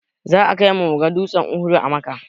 Za a kaimu muga dutsen uhud a makka